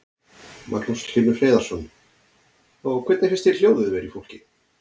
Magnús Hlynur Hreiðarsson: Og hvernig finnst þér hljóðið vera í fólki?